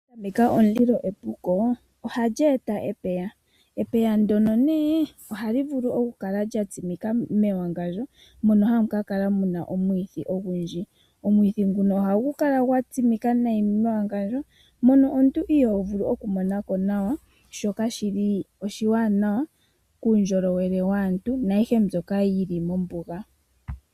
Okuhwameka omulilo epuko ohashi eta epeya. Epeya ndono nee ohali vulu okukala lya tsimika mewangandjo mono hamu ka kala muna omwithi ogundji. Omwithi nguno ohagu lala gwa tsimika nayi mewangandjo, mono omuntu iho vulu okumonako nawa shoka kaa shili oshiwanawa kuundjolowele waantu na ayihe mbyoka yili mombuga.